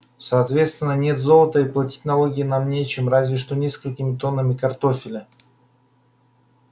соответственно нет золота и платить налоги нам нечем разве что несколькими тоннами картофеля